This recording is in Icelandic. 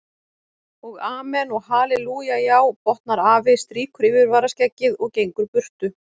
Og amen og hallelúja já, botnar afi, strýkur yfirvaraskeggið og gengur burtu.